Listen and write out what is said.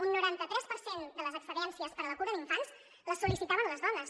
un noranta tres per cent de les excedències per a la cura d’infants la sol·licitaven les dones